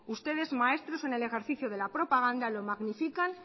ustedes maestros en el ejercicio de la propaganda lo magnifican